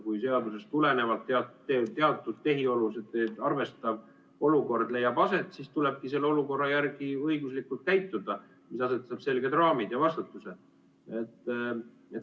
Kui seadusest tulenevalt teatud tehiolusid arvestav olukord leiab aset, siis tulebki selle olukorra järgi õiguslikult käituda, see asetab selged raamid ja vastutuse.